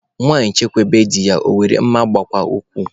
Nwanyị chekwube di ya, ọ were mma gbuwaa okwu